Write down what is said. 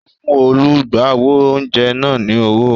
O fún olùgbàwò oúnjẹ náà ni owó